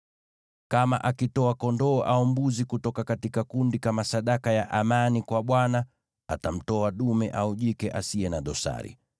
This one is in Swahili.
“ ‘Kama akitoa kondoo au mbuzi kutoka kundi kama sadaka ya amani kwa Bwana , atamtoa dume au jike asiye na dosari.